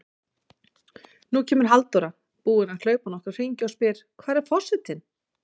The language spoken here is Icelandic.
Nú kemur Halldóra, búin að hlaupa nokkra hringi, og spyr: Hvar er forsetinn?